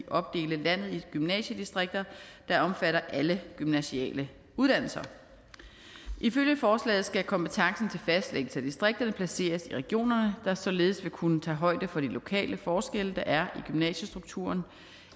opdele landet i gymnasiedistrikter der omfatter alle gymnasiale uddannelser ifølge forslaget skal kompetencen til fastlæggelse af distrikterne placeres i regionerne der således vil kunne tage højde for de lokale forskelle der er i gymnasiestrukturen og